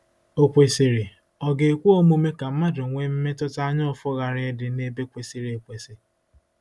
Okwesịrị, ọ̀ ga-ekwe omume ka mmadụ nwee mmetụta anyaụfụ ghara ịdị n’ebe kwesịrị ekwesị?